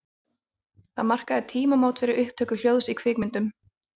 Það markaði tímamót fyrir upptöku hljóðs í kvikmyndum.